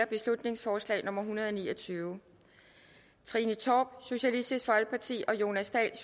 beslutningsforslag nummer b en hundrede og ni og tyve trine torp og jonas dahl